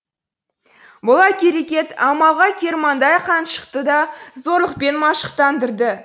бұл әрекет амалға кермаңдай қаншықты да зорлықпен машықтандырды